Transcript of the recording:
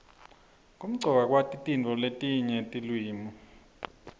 kumcoka kwati letinye tiliwimi